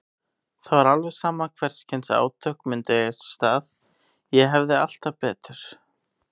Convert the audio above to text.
Það var alveg sama hvers kyns átök myndu eiga sér stað, ég hefði alltaf betur.